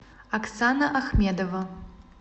оксана ахмедова